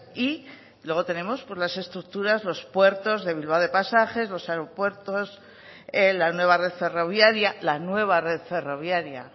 y luego tenemos las estructuras los puertos de bilbao y de pasajes los aeropuertos la nueva red ferroviaria la nueva red ferroviaria